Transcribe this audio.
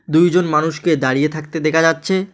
দুইজন মানুষকে দাঁড়িয়ে থাকতে দেখা যাচ্ছে।